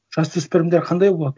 жасөспірімдер қандай болады